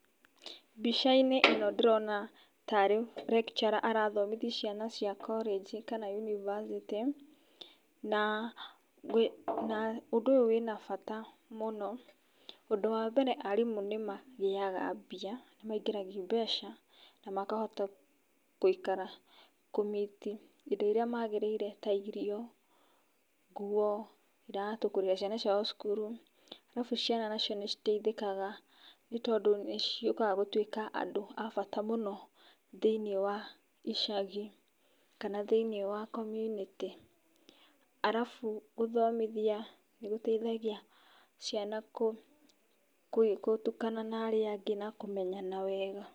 Mbicainĩ ĩno ndĩrona tarĩ lecturer arabundithia cia cia coranji kana yunibacĩtiĩ na ũndũ ũyũ wĩna bata mũno, ũndũ wa mbere arimũ nĩ magĩaga mbia, nĩ maigĩragia mbeca na makahota gũikara kũ meet indo iria magĩrĩire ta irio ngũo iratũ, kũrĩhĩra ciana ciao thukuru arabu ciana nacio nĩ citeithĩkaga nĩ tondũ nĩ cĩũkaga gũtuĩka andũ a bata mũno thĩiniĩ wa icagi kana thĩiniĩ wa komunĩtĩ arabu gũthomithia nĩgũteithagia ciana gũtukana na arĩa angĩ na kũmenyana wega.